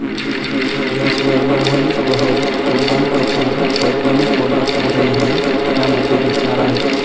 याशिवाय मोहनीश बहल, कुणाल कपूर, पद्मिनी कोल्हापुरेही यामध्ये दिसणार आहेत.